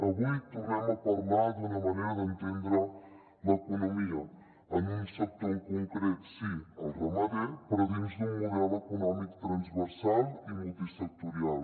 avui tornem a parlar d’una manera d’entendre l’economia en un sector en concret sí el ramader però dins d’un model econòmic transversal i multisectorial